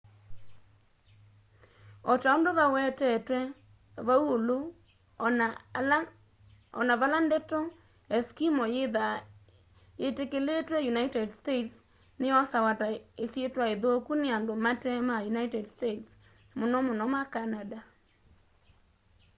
o ta undũ vawetetwe vau ulu ona vala ndeto eskimo yithaa yitikilitwe united states ni yosawa ta isitwa ithuku ni andu mate ma united states mũno mũno ma canada